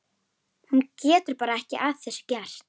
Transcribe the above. Hún getur bara ekki að þessu gert.